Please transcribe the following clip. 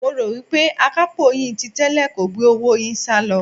Mo rò wí pé akapo yín ti tẹ́lẹ̀ kò gbé owó yín salo.